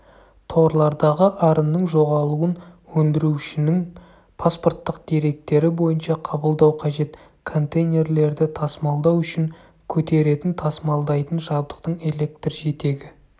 торлардағы арынның жоғалуын өндірушінің паспорттық деректері бойынша қабылдау қажет контейнерлерді тасымалдау үшін көтеретін-тасымалдайтын жабдықтың электр жетегі